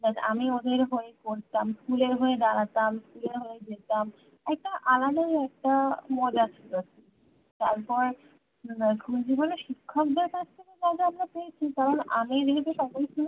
মানে আমি ওদের হয়ে বলতাম school এর হয়ে দাড়াতাম school এর হয়ে যেতাম একটা আলাদাই একটা মজা ছিলো তারপর school জীবনে শিক্ষকদের কাছ থেকে যা যা আমরা পেয়েছি কারণ আমি